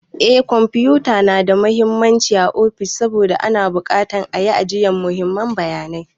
Eh kwamfuta na da mahimmanci ã ofis saboda ana bukatan ã yi ajiyan muhimman bayanai.